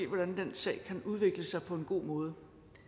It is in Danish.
hvordan den sag kan udvikle sig på en god måde